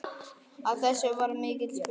Af þessu varð mikill spuni.